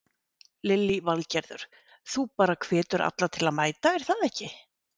Lillý Valgerður: Þú bara hvetur alla til að mæta er það ekki?